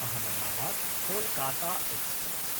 अहमदाबाद्–कोलकाता express